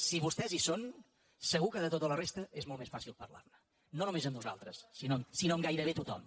si vostès hi són segur que de tota la resta és molt més fàcil parlarne no només amb nosaltres sinó amb gairebé tothom